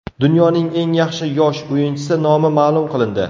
Dunyoning eng yaxshi yosh o‘yinchisi nomi ma’lum qilindi.